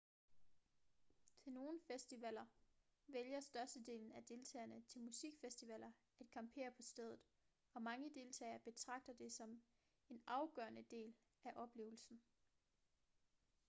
til nogle festivaler vælger størstedelen af deltagerne til musikfestivaler at campere på stedet og mange deltagere betragter det som en afgørende del af oplevelsen